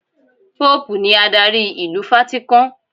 Póòpù ni adarí ìlú Fátíkán.